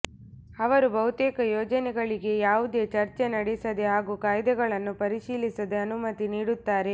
ಅವರು ಬಹುತೇಕ ಯೋಜನೆಗಳಿಗೆ ಯಾವುದೇ ಚರ್ಚೆ ನಡೆಸದೆ ಹಾಗೂ ಕಾಯ್ದೆಗಳನ್ನು ಪರಿಶೀಲಿಸದೆ ಅನುಮತಿ ನೀಡುತ್ತಾರೆ